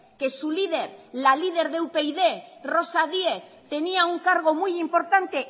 que su líder la líder de upyd rosa diez tenía un cargo muy importante